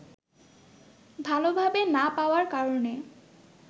ভালভাবে না পাওয়ার কারণে